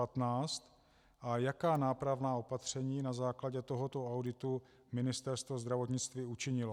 A jaká nápravná opatření na základě tohoto auditu Ministerstvo zdravotnictví učinilo?